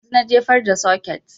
Yanzun na jefar da soket